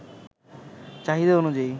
চাহিদা অনুযায়ী